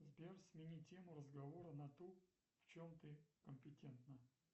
сбер смени тему разговора на ту в чем ты компетентна